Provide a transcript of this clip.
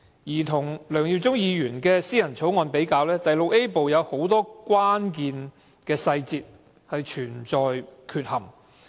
與梁耀忠議員的議員法案相比，第 VIA 部很多關鍵細節付之闕如。